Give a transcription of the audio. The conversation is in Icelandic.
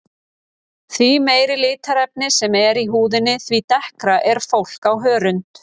Því meira litarefni sem er í húðinni því dekkra er fólk á hörund.